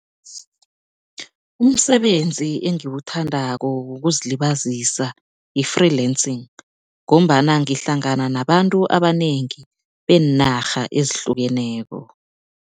Umsebenzi engiwuthandako wokuzilibazisa yi-freelancing ngombana ngihlangana nabantu abanengi beenarha ezihlukeneko.